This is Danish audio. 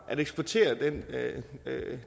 eksportere den